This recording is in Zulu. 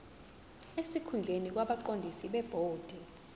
sesikhundleni kwabaqondisi bebhodi